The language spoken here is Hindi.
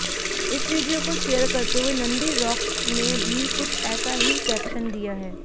इस वीडियो को शेयर करते हुए नंदीरॉक्स ने भी कुछ ऐसा ही कैप्शन दिया है